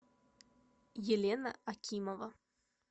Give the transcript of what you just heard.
елена акимова